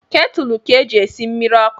Ketulu ka e ji esi mmiri ọkụ